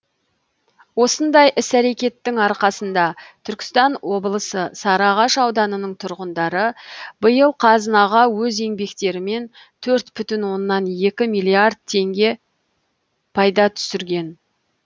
осындай іс әрекеттің арқасында түркістан облысы сарыағаш ауданының тұрғындары биыл қазынаға өз еңбектерімен төрт бүтін оннан екі миллиард теңге пайда түсірген